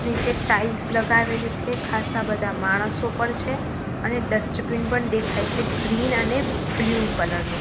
નીચે ટાઇલ્સ લગાવેલી છે ખાસા બધા માણસો પણ છે અને ડસ્ટબીન પણ દેખાય છે ગ્રીન અને બ્લુ કલર નો.